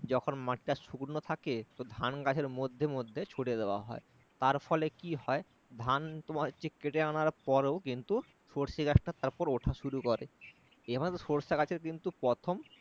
যখন মাটিটা শুকনো থাকে ধান গাছের মধ্যে মধ্যে ছড়িয়ে দেওয়া হয় তার ফলে কি হয় ধান তোমার হচ্ছে কেটে আনার পরেও কিন্তু সর্ষে গাছটা উঠা শুরু করে এবার সরিষা গাছের কিন্তু প্রথম